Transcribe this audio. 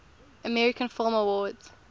american film awards